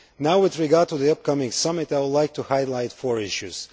Now, with regard to the upcoming summit, I would like to highlight four issues.